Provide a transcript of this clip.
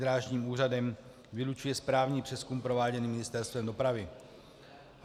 Drážním úřadem vylučuje správní přezkum prováděný Ministerstvem dopravy.